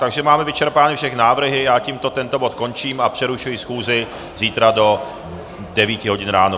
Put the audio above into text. Takže máme vyčerpány všechny návrhy, já tímto tento bod končím a přerušuji schůzi zítra do 9 hodin ráno.